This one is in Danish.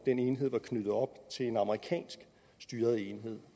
enhed var knyttet op til en amerikansk styret enhed